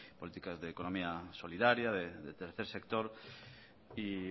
políticas de economía solidaria del tercer sector y